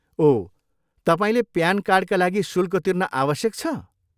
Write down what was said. ओह, तपाईँले प्यान कार्डका लागि शुल्क तिर्न आवश्यक छ?